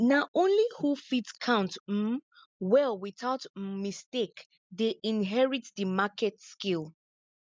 na only who fit count um well without um mistake dey inherit di market scale